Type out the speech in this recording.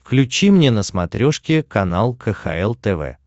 включи мне на смотрешке канал кхл тв